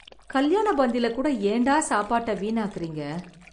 கல்யாண பந்தி லா கூட யென் டா சாபட வீண் அக்ரிங்கா